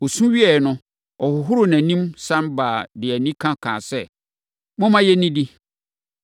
Ɔsu wieeɛ no, ɔhohoroo nʼanim, sane baeɛ de animia kaa sɛ, “Momma yɛnnidi!”